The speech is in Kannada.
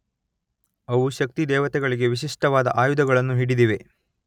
ಅವು ಶಕ್ತಿದೇವತೆಗಳಿಗೆ ವಿಶಿಷ್ಟವಾದ ಆಯುಧಗಳನ್ನು ಹಿಡಿದಿವೆ.